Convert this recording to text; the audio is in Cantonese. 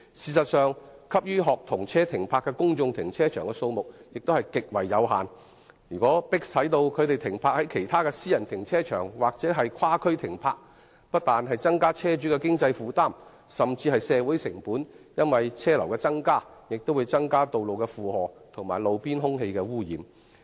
事實上，可供學童車停泊的公眾停車場的數目極為有限，如果學童車被迫停泊在其他私人停車場甚至其他地區，不但會加重車主的經濟負擔，更會令社會成本增加，因為車流增加必然會增加道路的負荷，並令路邊空氣污染的情況惡化。